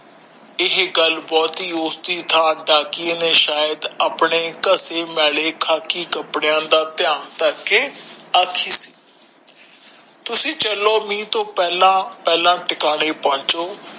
ਇਹ ਗੱਲ ਬਹੁਤ ਹੀ ਉਸ ਦੀ ਥਾਂ ਡਾਕੀਏ ਨੇ ਸ਼ਾਇਦ ਆਪਣੇ ਮੈਲੇ ਖਾਖੀ ਕਪੜਿਆਂ ਦਾ ਧਯਾਨ ਕਰਕੇ ਆਖਿ ਸੀ ਤੁਸੀਂ ਚਲੋ ਮੀਹ ਤੋਂ ਪਹਿਲਾ ਪਹਿਲਾ ਠਿਕਾਣੇ ਪਹੁੰਚੋ